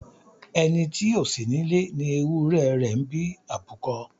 Ẹni tí ó sí nílé ni ewúrẹ́ rẹ̀ ń bí àbúkọ.